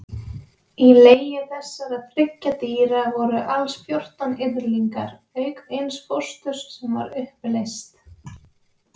Í legi þessara þriggja dýra voru alls fjórtán yrðlingar, auk eins fósturs sem var uppleyst.